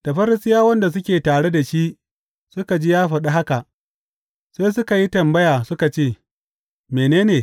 Da Farisiyawan da suke tare da shi suka ji ya faɗi haka sai suka yi tambaya suka ce, Mene?